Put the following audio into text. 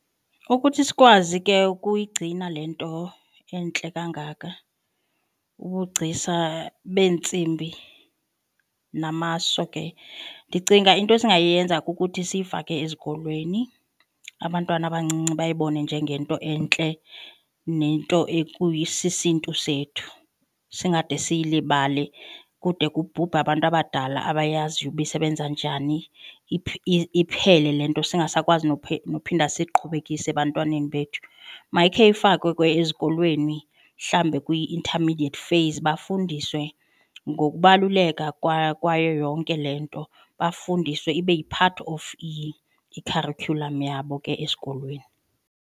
Ukuthi sikwazi ke ukuyigcina le nto entle kangaka ubugcisa beentsimbi namaso ke ndicinga into esingayenza kukuthi siyifake ezikolweni abantwana abancinci bayibone njengento entle nento ekuyisisiNtu sethu. Singade siyilibale kude kubhubhe abantu abadala abayaziyo uba isebenza njani, iphele le nto singasakwazi nophinda siyiqhubekise ebantwaneni bethu. Mayikhe ifakwe ezikolweni mhlawumbi kwi-intermediate phase bafundiswe ngokubaluleka kwayo yonke le nto, bafundiswe ibe yi-part of i-curriculum yabo ke esikolweni.